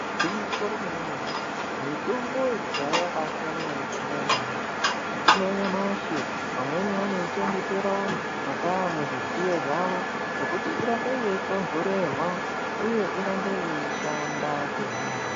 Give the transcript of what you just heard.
Igwinyiso remene-mene, mitombo yekudhaya yaibaasiyana ngemitombo yanyamashi. Mitombo yanyamashi vamweni vanoichengetera mwakaa muzvidziyo zvavo, zvokuti irambe yeitontorerwa ,uye irambe yeishanda kuhina hosha.